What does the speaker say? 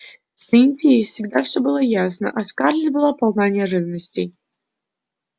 с индией всегда всё было ясно а скарлетт была полна неожиданностей